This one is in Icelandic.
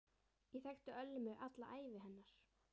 Ég þekkti Ölmu alla ævi hennar.